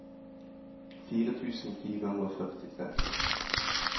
fire tusen fire hundre og førtitre